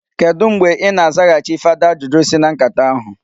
Kedụ mgbe i na-azaghachi fada ajụjụ si na nkata ahụ?